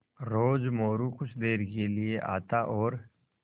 रोज़ मोरू कुछ देर के लिये आता और